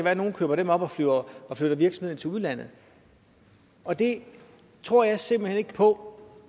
at nogen køber dem op og og flytter virksomheden til udlandet og det tror jeg simpelt hen ikke på